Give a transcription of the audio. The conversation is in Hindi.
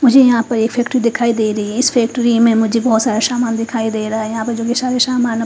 उजे यहाँ पे एक फैक्ट्री दिखाई दे रही है इस फैक्ट्री में मुह्जे बोहोत सारा सामान दिखाई दे रहा है जो की --